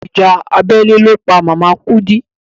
Ìjà abẹ́lé ló pa màmá Kúdí.